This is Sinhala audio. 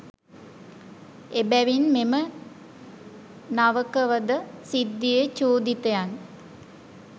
එබැවින් මෙම නවකවද සිද්ධියේ චූදිතයන්